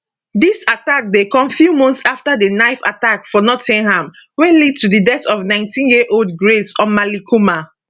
dis attack dey come few months afta di knife attack for nottingham wey lead to di death of 19yearold grace omalleykumar